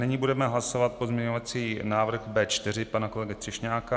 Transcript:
Nyní budeme hlasovat pozměňovací návrh B4 pana kolegy Třešňáka.